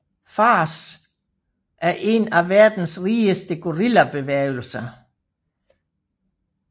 FARC er en af verdens rigeste guerillabevægelser